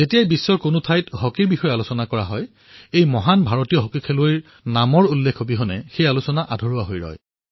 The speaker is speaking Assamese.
বিশ্বত যেতিয়াই হকীৰ চৰ্চা হব তেতিয়াই ভাৰতৰ এই মহান খেলুৱৈসকলৰ অবিহনে হকীৰ কাহিনী আধৰুৱা হব